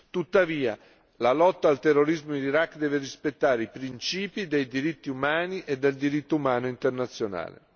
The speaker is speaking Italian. Tuttavia, la lotta al terrorismo in Iraq deve rispettare i principi dei diritti umani e del diritto umanitario internazionale.